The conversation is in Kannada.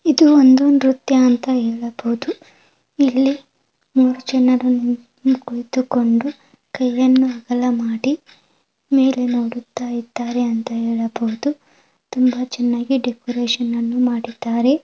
ಇದು ಒಂದು ನೃತ್ಯ ಅಂತ ಹೇಳಬಹುದು ಇಲ್ಲಿ ಮೂರು ಜನರು ನಿನ್ ಕುಳಿತು ಕೊಂಡು ಕೈಯನ್ನು ಅಗಲ ಮಾಡಿ ಮೇಲೆ ನೋಡುತಿದ್ದರೆ ಅಂತ ಹೇಳಬಹುದು ತುಂಬ ಚೆನ್ನಾಗಿ ಡೆಕೋರೇಷನ್ ಅನ್ನು ಮಾಡಿದ್ದಾರೆ.